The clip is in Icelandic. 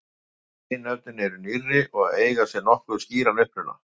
Hin nöfnin eru nýrri og eiga sér nokkuð skýran uppruna.